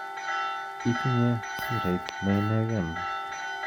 Itinye surait neineken